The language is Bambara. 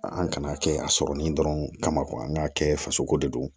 An kana kɛ a sɔrɔlen dɔrɔn kama an k'a kɛ fasoko de don